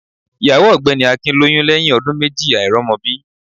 Ìyàwó ògbẹ́ni Akin lóyún lẹ́yìn ọdún méjì àìrọ́mọbí